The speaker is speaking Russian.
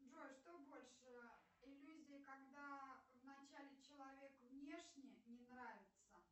джой что больше иллюзия когда в начале человек внешне не нравится